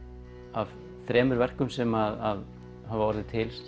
af þremur verkum sem hafa orðið til